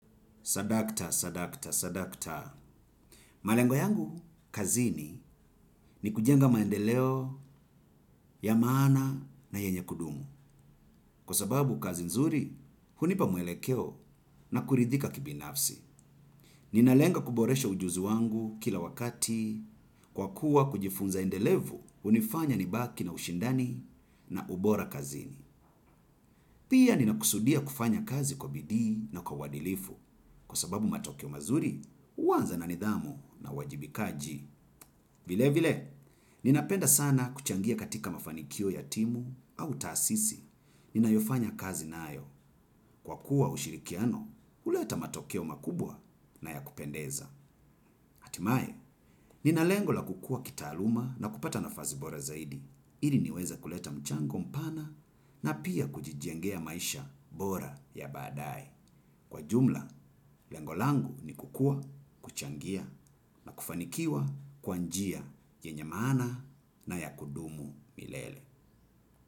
Sadakta, sadakta, sadakta. Malengo yangu, kazini ni kujenga maendeleo, ya maana na yenye kudumu. Kwa sababu kazi nzuri, hunipa mwelekeo na kuridhika kibinafsi. Ninalenga kuboresha ujuzi wangu kila wakati, kwa kuwa kujifunza endelevu, hunifanya nibaki na ushindani na ubora kazini. Pia nina kusudia kufanya kazi kwa bidii na kwa uadilifu kwa sababu matokeo mazuri uanza na nidhamu na uwajibikaji. Vile vile, ninapenda sana kuchangia katika mafanikio ya timu au tasisi. Ninayofanya kazi nayo kwa kuwa ushirikiano, huleta matokeo makubwa na ya kupendeza. Hatimae, nina lengo la kukua kitaaluma na kupata nafasi bora zaidi. Ili niweze kuleta mchango mpana na pia kujijengea maisha bora ya badae. Kwa jumla, lengo langu ni kukua, kuchangia, na kufanikiwa, kwa njia, yenye maana na ya kudumu milele.